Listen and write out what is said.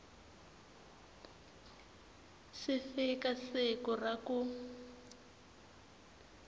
si fika siku ra ku